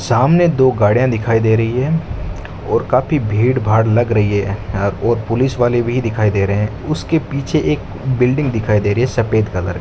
सामने दो घरे दिखाई दे रही है और काफी भीड़ भाड़ लग रही है और पुलिस वाले भी दिखाई दे रहे हैं उसके पीछे एक बिल्डिंग दिखाई दे रही है सफेद कलर --